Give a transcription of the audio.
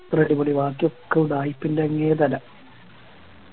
ബാക്കിയൊക്കെ ഉഡായിപ്പിൻറെ അങ്ങേതല